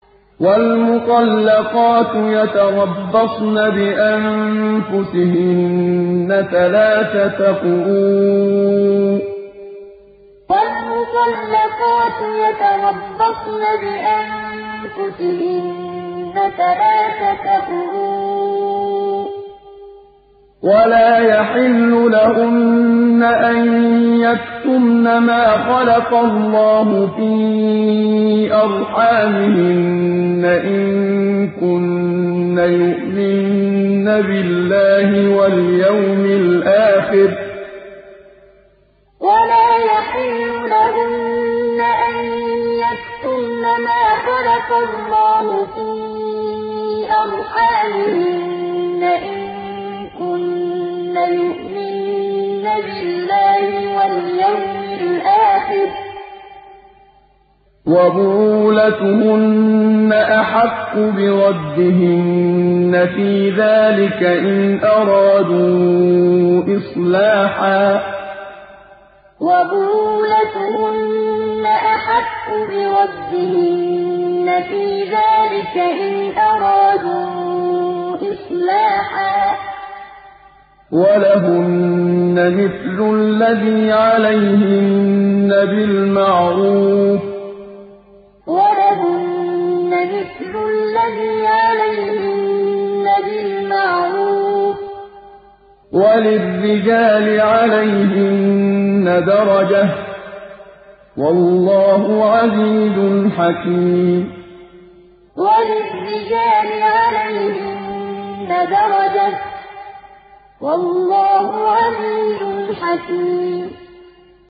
وَالْمُطَلَّقَاتُ يَتَرَبَّصْنَ بِأَنفُسِهِنَّ ثَلَاثَةَ قُرُوءٍ ۚ وَلَا يَحِلُّ لَهُنَّ أَن يَكْتُمْنَ مَا خَلَقَ اللَّهُ فِي أَرْحَامِهِنَّ إِن كُنَّ يُؤْمِنَّ بِاللَّهِ وَالْيَوْمِ الْآخِرِ ۚ وَبُعُولَتُهُنَّ أَحَقُّ بِرَدِّهِنَّ فِي ذَٰلِكَ إِنْ أَرَادُوا إِصْلَاحًا ۚ وَلَهُنَّ مِثْلُ الَّذِي عَلَيْهِنَّ بِالْمَعْرُوفِ ۚ وَلِلرِّجَالِ عَلَيْهِنَّ دَرَجَةٌ ۗ وَاللَّهُ عَزِيزٌ حَكِيمٌ وَالْمُطَلَّقَاتُ يَتَرَبَّصْنَ بِأَنفُسِهِنَّ ثَلَاثَةَ قُرُوءٍ ۚ وَلَا يَحِلُّ لَهُنَّ أَن يَكْتُمْنَ مَا خَلَقَ اللَّهُ فِي أَرْحَامِهِنَّ إِن كُنَّ يُؤْمِنَّ بِاللَّهِ وَالْيَوْمِ الْآخِرِ ۚ وَبُعُولَتُهُنَّ أَحَقُّ بِرَدِّهِنَّ فِي ذَٰلِكَ إِنْ أَرَادُوا إِصْلَاحًا ۚ وَلَهُنَّ مِثْلُ الَّذِي عَلَيْهِنَّ بِالْمَعْرُوفِ ۚ وَلِلرِّجَالِ عَلَيْهِنَّ دَرَجَةٌ ۗ وَاللَّهُ عَزِيزٌ حَكِيمٌ